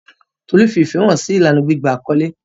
Tolu fi ìfẹ́ hàn sí ìlànà gbígba àkọ́lé.